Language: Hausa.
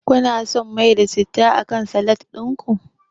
Kuna son mai da citta akan salat din ku?